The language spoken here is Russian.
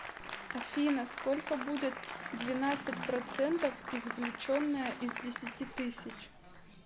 афина сколько будет двенадцать процентов извлеченное из десяти тысяч